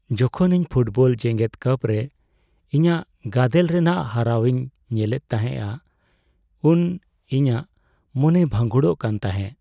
ᱡᱚᱠᱷᱚᱱ ᱤᱧ ᱯᱷᱩᱴᱵᱚᱞ ᱡᱮᱜᱮᱫ ᱠᱟᱯ ᱨᱮ ᱤᱧᱟᱹᱜ ᱜᱟᱫᱮᱞ ᱨᱮᱱᱟᱜ ᱦᱟᱨᱟᱣ ᱤᱧ ᱧᱮᱞᱮᱫ ᱛᱟᱦᱮᱸᱼᱟ ᱩᱱ ᱤᱤᱧᱟᱹᱜ ᱢᱚᱱᱮ ᱵᱷᱟᱺᱜᱩᱲᱚᱜ ᱠᱟᱱ ᱛᱟᱦᱮᱸᱜ ᱾